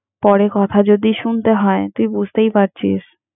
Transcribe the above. পরে কথা যদি শুনতে হয়, তুই বুঝতেই পারছিস।